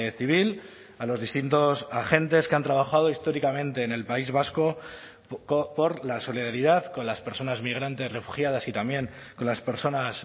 civil a los distintos agentes que han trabajado históricamente en el país vasco por la solidaridad con las personas migrantes refugiadas y también con las personas